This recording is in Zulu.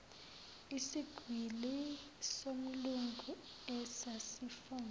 isigwili somlungu esasifuna